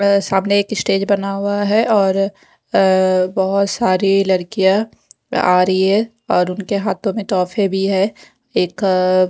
सामने एक स्टेज बना हुआ है और अ बहुत सारी लड़कियां आ रही है और उनके हाथों में तोहफे भी है एक--